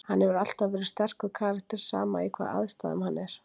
Hann hefur alltaf verið sterkur karakter, sama í hvaða aðstæðum hann er.